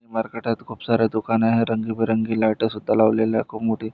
मरकटात खूप सारे दुकान आहे रंग बिरंगी लाइट सुद्धा लावलेल्या खूप मोठी--